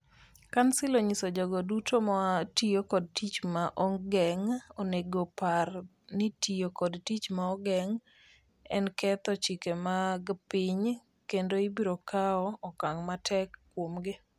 Kansil onyiso jogo duto ma tiyo kod tich ma ogeng', onego opar ni tiyo kod tich ma ogeng' en ketho chike mag piny (kendo) ibiro kawo okang' matek kuomgi.